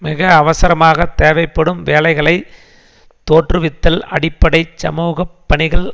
மிக அவசரமாக தேவைப்படும் வேலைகளை தோற்றுவித்தல் அடிப்படை சமூக பணிகள்